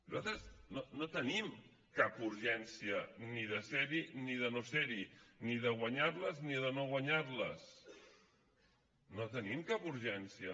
nosaltres no tenim cap urgència ni de ser hi ni de no ser hi ni de guanyar les ni de no guanyar les no en tenim cap urgència